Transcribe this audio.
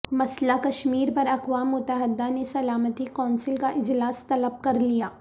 مسئلہ کشمیر پر اقوام متحدہ نے سلامتی کونسل کا اجلاس طلب کر لیا